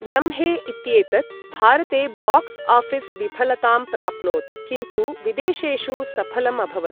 लम्हे इत्येतत् भारते बॉक्स् आफिस् विफलतां प्राप्नोत् किन्तु विदेशेषु सफलम् अभवत्।